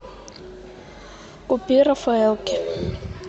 купи рафаэлки